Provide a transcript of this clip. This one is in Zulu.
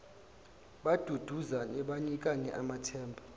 baduduzane banikane amathemba